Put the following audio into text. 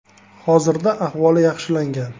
Hozirda ahvoli yaxshilangan.